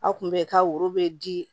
Aw kun bɛ ka woro bɛ di